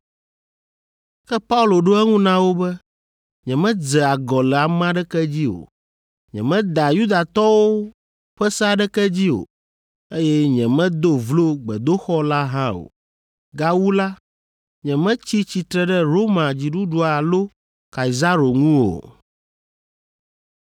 Ke Paulo ɖo eŋu na wo be, “Nyemedze agɔ le ame aɖeke dzi o. Nyemeda Yudatɔwo ƒe se aɖeke dzi o, eye nyemedo vlo gbedoxɔ la hã o. Gawu la, nyemetsi tsitre ɖe Roma dziɖuɖu alo Kaisaro ŋu o.”